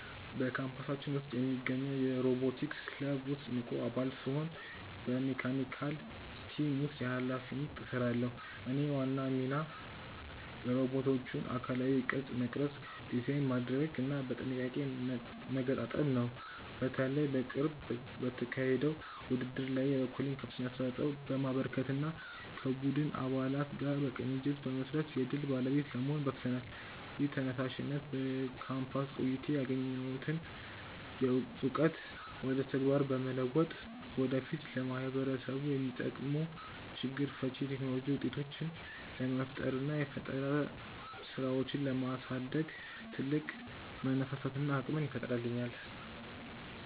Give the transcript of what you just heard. በካምፓሳችን ውስጥ በሚገኘው የሮቦቲክስ ክለብ ውስጥ ንቁ አባል ስሆን በመካኒካል ቲም ውስጥ በኃላፊነት እሰራለሁ። የእኔ ዋና ሚና የሮቦቶቹን አካላዊ ቅርጽ መቅረጽ፣ ዲዛይን ማድረግና በጥንቃቄ መገጣጠም ነው። በተለይ በቅርቡ በተካሄደው ውድድር ላይ የበኩሌን ከፍተኛ አስተዋጽኦ በማበርከትና ከቡድን አባላት ጋር በቅንጅት በመስራት የድል ባለቤት ለመሆን በቅተናል። ይህ ተነሳሽነት በካምፓስ ቆይታዬ ያገኘሁትን እውቀት ወደ ተግባር በመለወጥ ወደፊት ለማህበረሰቡ የሚጠቅሙ ችግር ፈቺ የቴክኖሎጂ ውጤቶችን ለመፍጠርና የፈጠራ ስራዎችን ለማሳደግ ትልቅ መነሳሳትንና አቅምን ይፈጥርልኛል።